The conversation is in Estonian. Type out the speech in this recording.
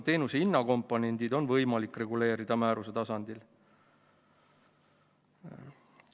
Teenuse hinnakomponendid on võimalik reguleerida määruse tasandil.